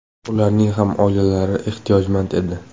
Ularning ham oilalari ehtiyojmand edi.